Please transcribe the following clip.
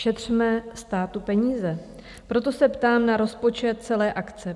Šetřme státu peníze, proto se ptám na rozpočet celé akce.